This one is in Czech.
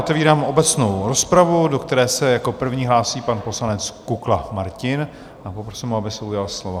Otevírám obecnou rozpravu, do které se jako první hlásí pan poslanec Kukla Martin, a poprosím ho, aby se ujal slova.